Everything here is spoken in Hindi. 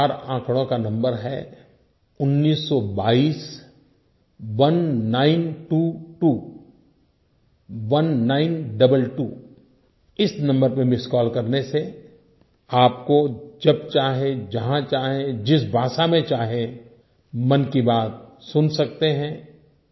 वो चार आँकड़ों का नंबर है उन्नीस सौ बाईस19221922 इस नंबर पर मिस्ड कॉल करने से आप जब चाहें जहाँ चाहें जिस भाषा में चाहें मन की बात सुन सकते हैं